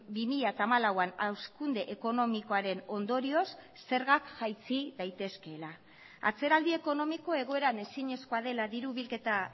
bi mila hamalauan hazkunde ekonomikoaren ondorioz zergak jaitsi daitezkeela atzeraldi ekonomiko egoeran ezinezkoa dela diru bilketa